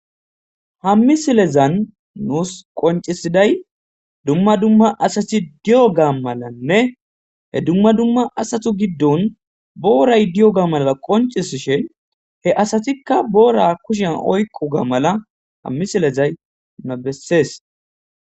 Hammisilezan nuus qoncisiday dumma dumma asati di'o ga malanne he dumma dumma asatu giddon booray diyo ga malaa qoncis shin he asatikka boora kushian oykqu ga mala hammisilezay na bessees.